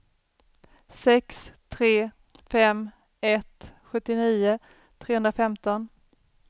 sex tre fem ett sjuttionio trehundrafemton